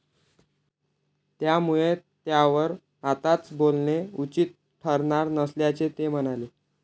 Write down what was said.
त्यामुळे त्यावर आत्ताच बोलणे उचित ठरणार नसल्याचे ते म्हणाले.